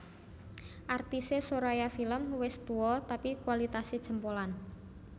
Artise Soraya Film wes tuo tapi kualitase jempolan